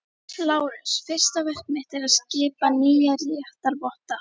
LÁRUS: Fyrsta verk mitt er að skipa nýja réttarvotta.